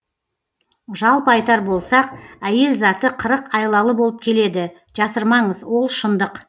жалпы айтар болсақ әйел заты қырық айлалы болып келеді жасырмаңыз ол шындық